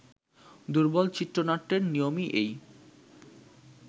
দুর্বল চিত্রনাট্যের নিয়মই এই